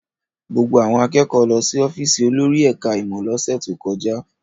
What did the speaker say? Gbogbo àwọn akẹ́kọ̀ọ́ lọ sí ọ́fíísì olórí ẹ̀ka-ìmọ̀ lọ́sẹ̀ tó kọjá.